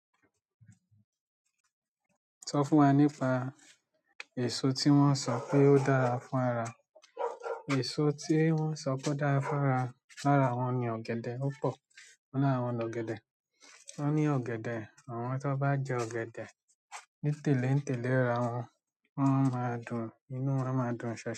Sọ fún wa nípa èso tí wọ́n sọ pé ó dára fún ara. Èso tí wọ́n sọ pé ó dára fún ara, lára wọn ni ọ̀gẹ̀dẹ̀, ó pọ̀ nínú àwọn ọ̀gẹ̀dẹ̀. Wọ́n ní ọ̀gẹ̀dẹ̀, àwọn tí wọ́n bá jẹ ọ̀gẹ̀dẹ̀ nítẹ̀léǹtẹ̀lé ra wọn, wọ́n máa dùn inú, wọ́n máa dùn.